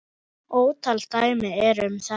Ótal dæmi eru um þetta.